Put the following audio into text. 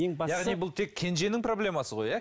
яғни бұл тек кенженің проблемасы ғой иә